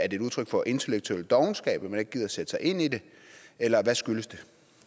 et udtryk for intellektuel dovenskab at man ikke gider sætte sig ind i det eller hvad skyldes det